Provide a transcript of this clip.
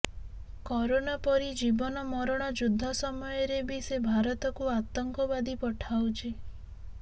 corona ପରି ଜୀବନ ମରଣ ଯୁଦ୍ଧ ସମୟରେ ବି ସେ ଭାରତକୁ ଆତଙ୍କବାଦୀ ପଠାଉଛି